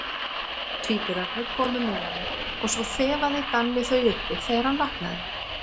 Tvíburarnir komu með honum og svo þefaði Danni þau uppi þegar hann vaknaði.